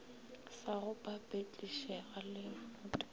sa go papetlišega le motopo